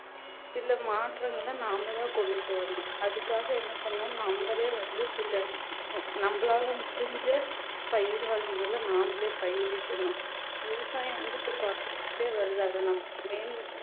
சில மாற்றங்களை நாம தான் கொண்டுட்டு வரணும் அதுக்காக என்ன பண்ணணும் நம்மளே வந்து சில நம்மளால முடிஞ்ச பயிர் வகைகளை நாமளே பயிரிட்டணும் விவசாயம் வந்து இப்ப குறைஞ்சிக்கிட்டே வருது அதை நம்ம